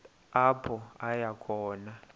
apho aya khona